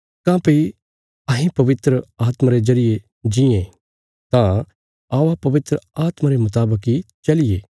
काँह्भई अहें पवित्र आत्मा रे जरिये जीयें तां औआ पवित्र आत्मा रे मुतावक इ चलिये